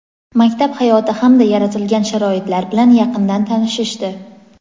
maktab hayoti hamda yaratilgan sharoitlar bilan yaqindan tanishishdi.